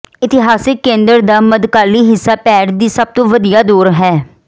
ਇਤਿਹਾਸਕ ਕੇਂਦਰ ਦਾ ਮੱਧਕਾਲੀ ਹਿੱਸਾ ਪੈਰ ਦੀ ਸਭ ਤੋਂ ਵਧੀਆ ਦੌਰਾ ਹੈ